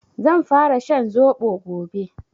Zan fara shan zobo gobe